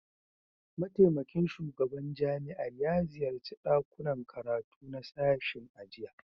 Mataimakin shugaban jami'ar ya ziyarci dakunan karatu na sashen a jiya